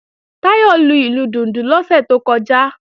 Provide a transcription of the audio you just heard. Táyọ̀ lu ìlù dùndún lọ́sẹ̀ tó kọjá